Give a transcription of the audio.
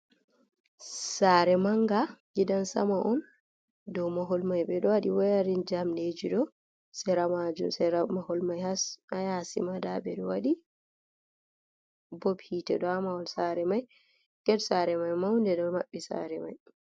Sare manga gidan sama on, dow mahol mai ɓe ɗo waɗi wayarin jamɗeji dow sera majum sera mahol mai. Haa yasi ma nda ɓe ɗo waɗi bob hite dow amahol sare mai Get sare mai maunde ɗo maɓɓi saare mai.